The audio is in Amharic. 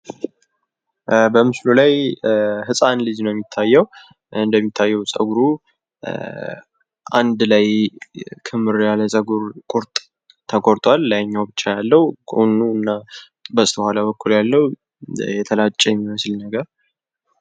በምስሉ ላይ ህጻን ልጅ ነው የሚታየው ። እንደሚታየው ጸጉሩ አንድ ላይ ክምር ያለ ፀጉር ቁርጥ ተቆርጧል ። ላይኛው ብቻ ያለው ጎኑና በኋላ በኩል ያለው የተላጨ የሚመስል የጸጉር ቁርጥ ነው።